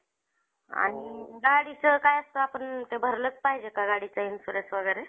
IPL, Champions trophy, asia cup अशे अश्या trophy चे आयोजन cricket मध्ये करण्यात येते भारत संघाचे एकोणीशे त्र्याऐंशी मध्ये कपिल देव यांनी यांनी